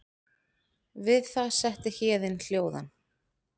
Við það setti Héðin hljóðan.